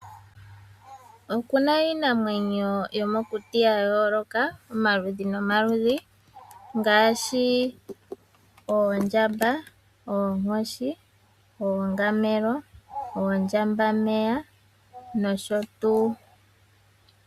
Okuna iinamwenyo yomokuti ya yooloka omaludhi nomaludhi. Ngaashi oondjamba, oonkoshi, ongamelo, oondjambameya nosho tuu.